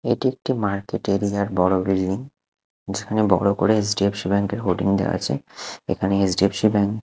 এটি একটি মার্কেট এরিয়ার বড়ো বিল্ডিং যেখানে বড়ো করে এইচ ডি এফ সি ব্যাঙ্কের হোর্ডিং দেওয়া আছে এখানে H D F C bank --